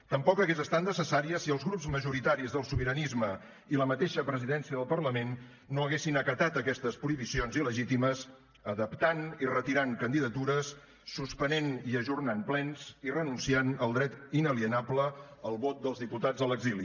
tampoc hagués estat necessària si els grups majoritaris del sobiranisme i la mateixa presidència del parlament no haguessin acatat aquestes prohibicions il·legítimes adaptant i retirant candidatures suspenent i ajornant plens i renunciant al dret inalienable al vot dels diputats a l’exili